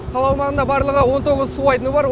қала аумағында барлығы он тоғыз су айдыны бар